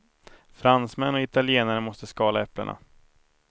Fransmän och italienare måste skala äpplena.